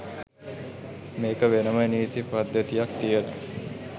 මේක වෙනම නීති පද්ධතියක් තියන